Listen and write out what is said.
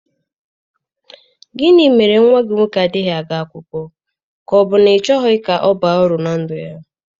Gịnị mere nwa gị nwoke adịghị aga akwụkwọ, ka ọ bụ na ị chọghị ka ọ baa uru na ndụ?